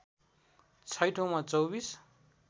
छैठौँमा २४